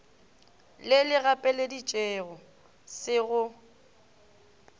le le gapeleditšego se go